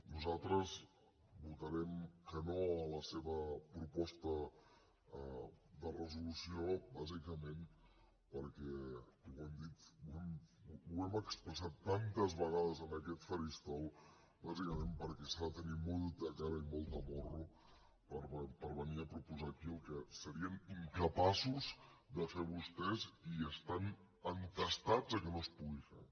nosaltres votarem que no a la seva proposta de resolució bàsicament perquè ho hem expressat tantes vegades en aquest faristol bàsicament perquè s’ha de tenir molta cara i molt de morro per venir a proposar aquí el que serien incapaços de fer vostès i estan entestats que no es pugui fer